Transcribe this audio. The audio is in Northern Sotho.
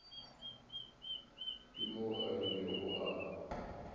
ke moo a ilego a